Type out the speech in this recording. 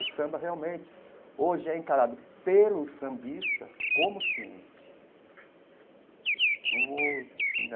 O samba, realmente, hoje é encarado pelo sambista como ciência como assim.